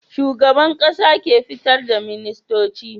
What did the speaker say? Shugaban ƙasa ke fitar da ministoci